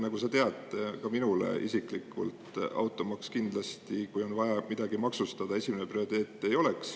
Nagu sa tead, kui on vaja midagi maksustada, siis ka minul isiklikult automaks kindlasti esimene ei ole.